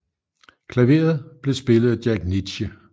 Klaveret blev spillet af Jack Nitzsche